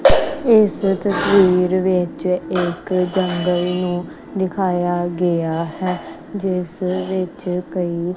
ਇਸ ਤਸਵੀਰ ਵਿੱਚ ਇੱਕ ਜੰਗਲ ਨੂੰ ਦਿਖਾਇਆ ਗਿਆ ਹੈ ਜਿਸ ਵਿਚ ਕਈ---